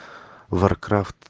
варкрафт